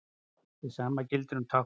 Hið sama gildir um táknmál.